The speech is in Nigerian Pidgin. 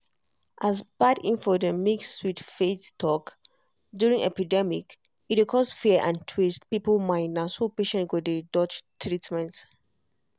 as bad info dey mix with faith talk during epidemic e dey cause fear and twist people mind na so patient go dey dodge treatment.